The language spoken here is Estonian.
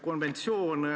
Kasutasime neid.